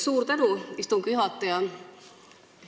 Suur tänu, istungi juhataja!